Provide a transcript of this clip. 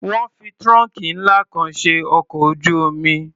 Wọ́n fi trunk ńlá kan ṣe ọkọ̀ ojú-omi.